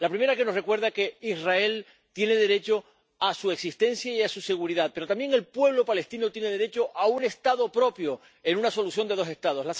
La primera, que Israel tiene derecho a su existencia y a su seguridad, pero también el pueblo palestino tiene derecho a un Estado propio en una solución de dos Estados